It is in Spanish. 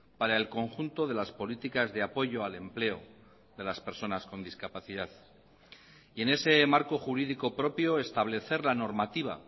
para el conjunto de las políticas de apoyo al empleo de las personas con discapacidad y en ese marco jurídico propio establecer la normativa